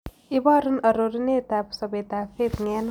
Iborun arorunetap sobetap faith ng'eno